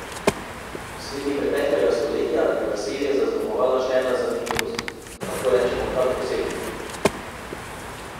Sredi preteklega stoletja je naselje zaznamovala še ena zanimivost, lahko rečemo kar posebnost.